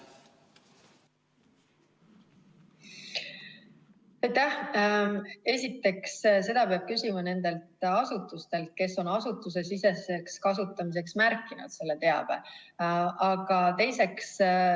Esiteks, seda peab küsima nendelt asutustelt, kes on selle teabe märkinud asutusesiseseks kasutamiseks.